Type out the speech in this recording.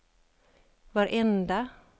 varenda